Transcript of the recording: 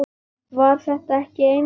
Var þetta ekki einmitt málið?